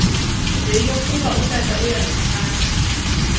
yeyokuba utata uyandithanda